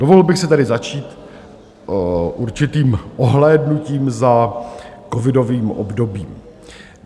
Dovolil bych si tedy začít určitým ohlédnutím za covidovým obdobím.